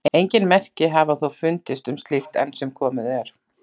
Engin merki hafa þó fundist um slíkt enn sem komið er.